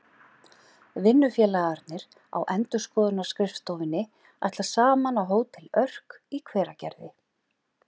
Vinnufélagarnir á endurskoðunarskrifstofunni ætla saman á Hótel Örk í Hveragerði.